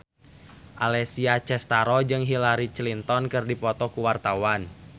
Alessia Cestaro jeung Hillary Clinton keur dipoto ku wartawan